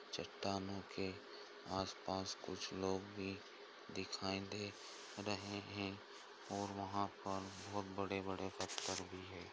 चट्टानों के आसपास कुछ लोग भी दिखाई दे रहे है और वहाँ पर बहोत बड़े-बड़े पत्थर भी हैं।